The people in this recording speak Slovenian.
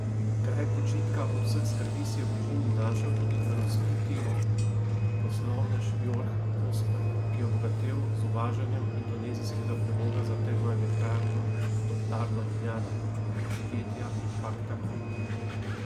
Kraj počitka od vseh skrbi si je v bližini našel tudi razvpiti poslovnež Jorg Kosler, ki je obogatel z uvažanjem indonezijskega premoga za termoelektrarno Toplarno Ljubljana prek podjetja Impakta Holding.